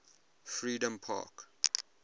freedompark